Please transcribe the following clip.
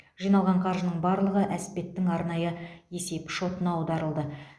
жиналған қаржының барлығы әспеттің арнайы есеп шотына аударылды